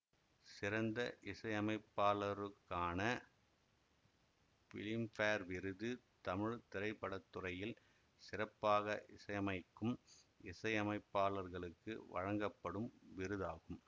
சிறந்த இசையமைப்பாளருக்கான பிலிம்பேர் விருது தமிழ் திரைப்பட துறையில் சிறப்பாக இசையமைக்கும் இசையமைப்பாளர்களுக்கு வழங்கப்படும் விருதாகும்